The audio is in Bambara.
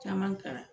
Caman kalan